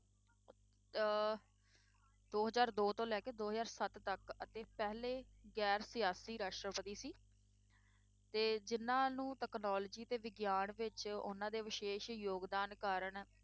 ਅਹ ਦੋ ਹਜ਼ਾਰ ਦੋ ਤੋਂ ਲੈ ਕੇ ਦੋ ਹਜ਼ਾਰ ਸੱਤ ਤੱਕ ਅਤੇ ਪਹਿਲੇ ਗੈਰ ਸਿਆਸੀ ਰਾਸ਼ਟਰਪਤੀ ਸੀ ਤੇ ਜਿੰਨਾਂ ਨੂੰ technology ਤੇ ਵਿਗਿਆਨ ਵਿੱਚ ਉਹਨਾਂ ਦੇ ਵਿਸ਼ੇਸ਼ ਯੋਗਦਾਨ ਕਾਰਨ,